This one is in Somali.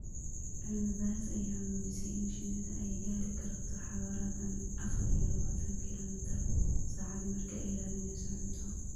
Cilmi baaris ayaa muujisay in shinnidu ay gaari karto xawaare dhan afar iyo labaatan kiilomitir saacaddii marka ay raadineyso cunto.